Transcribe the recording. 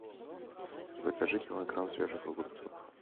закажи килограмм свежих огурцов